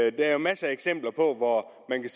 at der er masser af eksempler hvor man kan